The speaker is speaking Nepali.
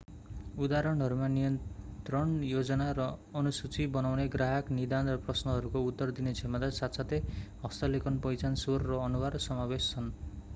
उदाहरणहरूमा नियन्त्रण योजना र अनुसूची बनाउने ग्राहक निदान र प्रश्नहरूको उत्तर दिने क्षमता साथसाथै हस्तलेखन पहिचान स्वर र अनुहार समावेश छन्